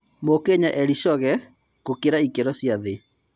Mũkenya Eli Shoge gũkĩra ĩkĩro cia thĩ.